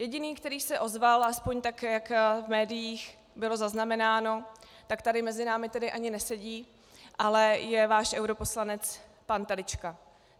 Jediný, který se ozval, aspoň tak, jak v médiích bylo zaznamenáno, tak tady mezi námi tedy ani nesedí, ale je váš europoslanec pan Telička.